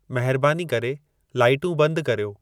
महिरबानी करे लाइटूं बंदि कर्यो